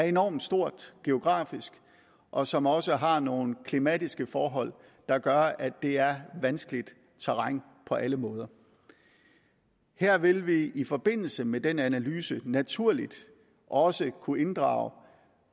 enormt stort geografisk og som også har nogle klimatiske forhold der gør at det er vanskeligt terræn på alle måder her vil vi i forbindelse med den analyse naturligt også kunne inddrage